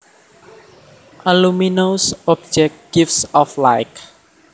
A luminous object gives off light